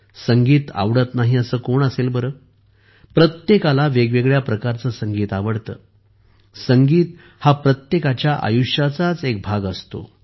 संगीत आवडत नाही असे कोण असेल प्रत्येकाला वेगवेगळ्या प्रकारचे संगीत आवडत असू शकते पण संगीत हा प्रत्येकाच्या आयुष्याचा एक भाग असतो